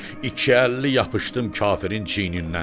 İki əlli yapışdım kafirin çiynindən.